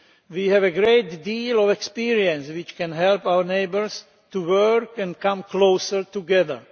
We have a great deal of experience which can help our neighbours to work and come closer together.